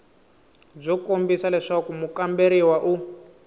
byo kombisa leswaku mukamberiwa u